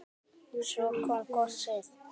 Svo kom gosið!